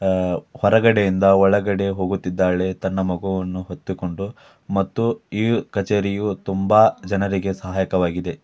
ಅಹ್ ಹೊರಗಡೆಯಿಂದ ಒಳಗಡೆ ಹೋಗುತಿದ್ದಾಳೆ ತನ್ನ ಮಗುವನ್ನು ಹೊತ್ತುಕೊಂಡು. ಮತ್ತು ಈ ಕಚೇರಿಯು ತುಂಬ ಜನರಿಗೆ ಸಹಾಯಕವಾಗಿದೆ.